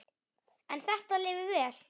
En þetta lifir vel.